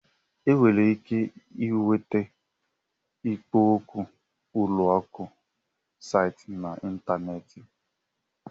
E nwere ike ịnweta ikpo okwu ụlọ akụ site na ịntanetị